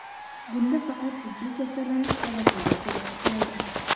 Bunda faqat jiddiy kasallanish holatlari ko‘rib chiqiladi.